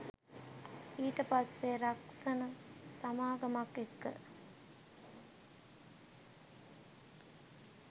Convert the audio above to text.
ඊට පස්සේ රක්ෂණ සමාගමක් එක්ක